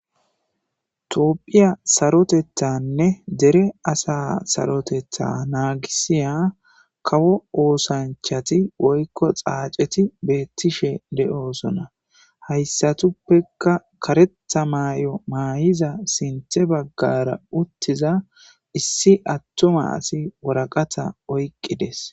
Toopphiya sarotethanne dere asa sarotetha naagisiya kawo oosanchati woykko xaaceti beettishe de'oosona hayssatuppeka karetha maay'o maayiza sinthe baggara uttiza issi attuma asi woraqata oyqqides.